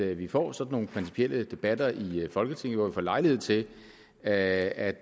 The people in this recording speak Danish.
vi får sådan nogle principielle debatter her i folketinget hvor vi får lejlighed til at